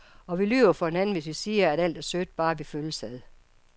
Og vi lyver for hinanden, hvis vi siger, at alt er sødt, bare vi følges ad.